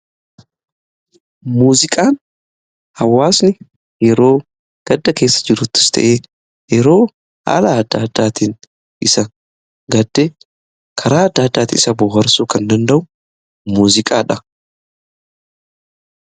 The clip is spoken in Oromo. muuziqaan hawaasni yeroo gadda keessa jiruttus ta'ee yeroo haala adda addaatiin isa gaddi karaa adda addaati isa boharsuu kan danda'u muuziqaadha.